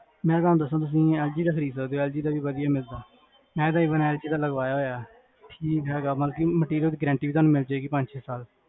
ਮੈਂ ਤੁਹਾਨੂ ਦਸਾਂ, ਤੁਸੀਂ ਐਲ ਜੀ ਦਾ ਖਰੀਦ ਲੋ, ਐਲ ਜੀ ਦਾ ਵੀ ਵਦੀਆਂ ਮਿਲ੍ਜੁਗਾ ਮੈਂ ਐਲ ਜੀ ਦਾ ਲਗਵਾਇਆ ਹੋਇਆ ਠੀਕ ਹੈਗਾ, materialguarantee ਤੁਹਾਨੂ ਮਿਲ੍ਜੇਗੀ ਪੰਜ ਛੇ ਸਾਲਾ ਦੇ